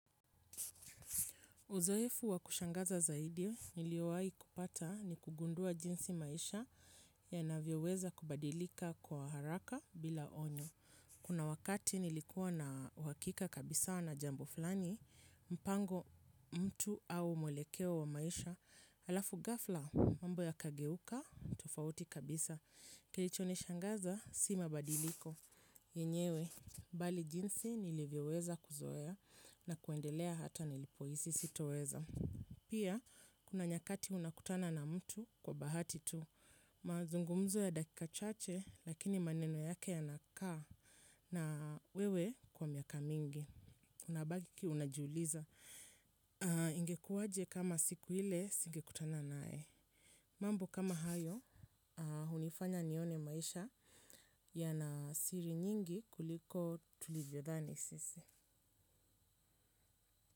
Uzoefu wa kushangaza zaidi niliowahi kupata ni kugundua jinsi maisha yanavyoweza kubadilika kwa haraka bila onyo. Kuna wakati nilikuwa na uhakika kabisa na jambo fulani, mpango mtu au mwelekeo wa maisha halafu ghafla, mambo yakageuka tofauti kabisa. Kilichonishangaza, si mabadiliko. Yenyewe, bali jinsi nilivyoweza kuzoea na kuendelea hata nilipohisi sitoweza. Pia, kuna nyakati unakutana na mtu kwa bahati tu. Mazungumzo ya dakika chache, lakini maneno yake yanakaa na wewe kwa miaka mingi. Unabaki unajiuliza. Ingekuaje kama siku ile, singekutana naye. Mambo kama hayo, hunifanya nione maisha yana siri nyingi kuliko tulivyodhani sisi.